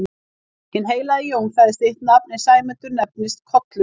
Hinn heilagi Jón sagði sitt nafn en Sæmundur nefndist Kollur.